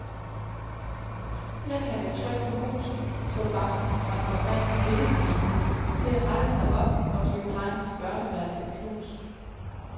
Her kan et tryk på musen få bamsen fra den oprindelige billedbogsside til at rette sig op og give drengen i børneværelset et knus.